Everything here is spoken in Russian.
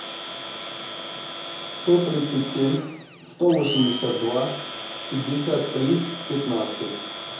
сто тридцать семь сто восемьдесят два пятьдесят три пятнадцать